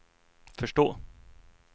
förstå